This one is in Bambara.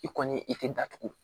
I kɔni i tɛ datugu